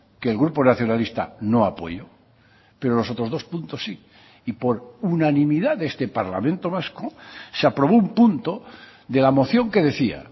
que el grupo nacionalista no apoyó pero los otros dos puntos sí y por unanimidad de este parlamento vasco se aprobó un punto de la moción que decía